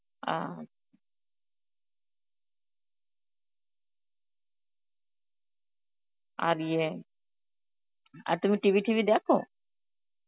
ও. আর ইয়ে, আর তুমি TV ঠিবি দেখো?